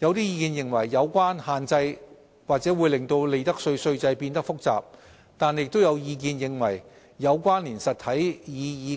有意見認為有關限制或會令利得稅稅制變得複雜，但也有意見認為"有關連實體